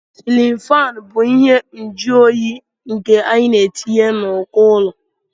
silin fán bụ ihe mjuonyi nke anyị na-etinye n'uko ụlọ